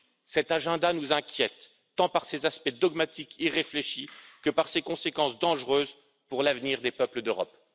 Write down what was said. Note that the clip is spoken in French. Ce programme nous inquiète, tant par ses aspects dogmatiques irréfléchis que par ses conséquences dangereuses pour l'avenir des peuples d'Europe.